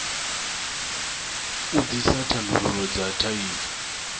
u ḓisa thandululo dza thaidzo